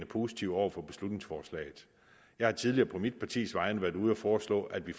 positive over for beslutningsforslaget jeg har tidligere på mit partis vegne været ude at foreslå at vi